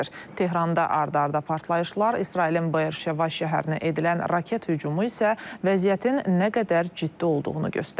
Tehranda ard-arda partlayışlar, İsrailin Beer-Şeva şəhərinə edilən raket hücumu isə vəziyyətin nə qədər ciddi olduğunu göstərir.